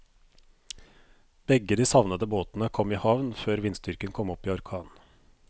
Begge de savnede båtene kom i havn før vindstyrken kom opp i orkan.